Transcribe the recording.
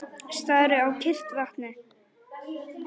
Stari á kyrrt vatnið.